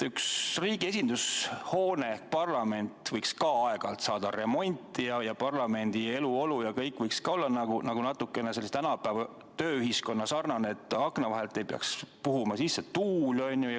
Üks riigi esindushoone, Toompea loss, võiks ka aeg-ajalt saada remonti ning parlamendi eluolu ja kõik võiks ka olla natukene tänapäevasem, et akna vahelt ei peaks puhuma sisse tuul.